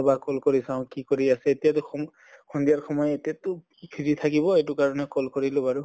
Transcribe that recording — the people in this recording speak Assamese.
এবাৰ call কৰি চাওঁ কি কৰি আছে এতিয়া দেখুন সন্ধিয়াৰ সময় এতিয়াতো free থাকিব এইটো কাৰণে call কৰিলোঁ বাৰু।